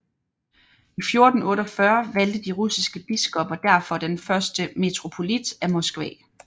I 1448 valgte de russiske biskopper derfor den første metropolit af Moskva